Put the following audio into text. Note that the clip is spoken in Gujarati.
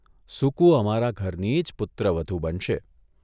સુકુ અમારા ઘરની જ પુત્રવધૂ બનશે.